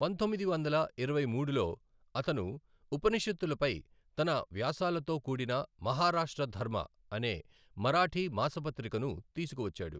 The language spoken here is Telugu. పంతొమ్మిది వందల ఇరవై మూడులో, అతను ఉపనిషత్తులపై తన వ్యాసాలతో కూడిన మహారాష్ట్ర ధర్మ అనే మరాఠీ మాసపత్రికను తీసుకువచ్చాడు.